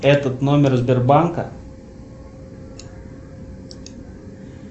этот номер сбербанка